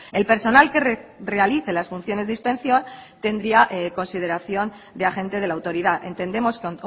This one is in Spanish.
el personal que realice las funciones de inspección tendría consideración de agente de la autoridad entendemos que